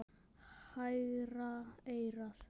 Hægra eyrað.